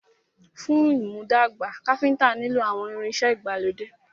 Fún ìmúdàgbà, Káfíntà nilo àwọn ìrìn ìṣe ìgbàlódé.